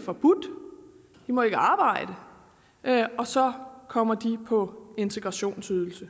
forbudt de må ikke arbejde og så kommer de på integrationsydelse